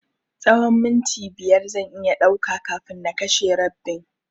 Tsahon minti biyar zan iya ɗauka kafin na kashe rabbin.